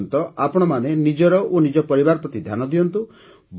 ସେ ପର୍ଯ୍ୟନ୍ତ ଆପଣମାନେ ନିଜର ଓ ନିଜ ପରବିାର ପ୍ରତି ଧ୍ୟାନ ଦିଅନ୍ତୁ